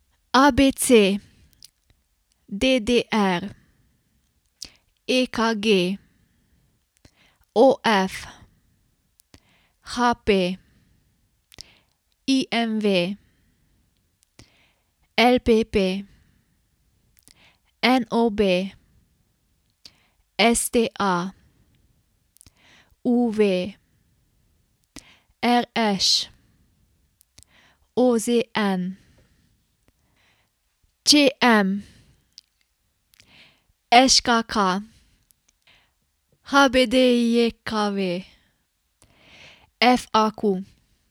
A B C; D D R; E K G; O F; H P; I M V; L P P; N O B; S T A; U V; R Š; O Z N; Č M; Ž K K; H B D J K V; F A Q.